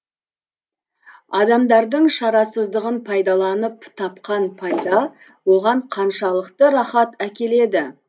адамдардың шарасыздығын пайдаланып тапқан пайда оған қаншалықты рахат әкеледі